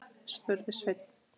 spurði Sveinn.